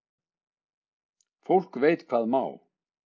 Fólk veit hvað má.